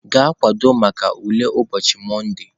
Gaa kwadebe maka ule ụbochị Monde!.